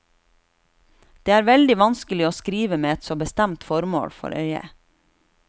Det er veldig vanskelig å skrive med et så bestemt formål for øye.